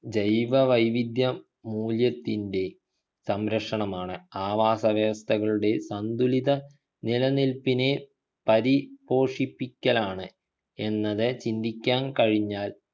ജൈവ വൈവിധ്യ മൂല്യത്തിൻ്റെ സംരക്ഷണമാണ് ആവാസ വ്യവസ്ഥകളുടെ സന്തുലിത നിലനില്പിനെ പരി പോഷിപ്പിക്കലാണ് എന്നത് ചിന്തിക്കാൻ കഴിഞ്ഞാൽ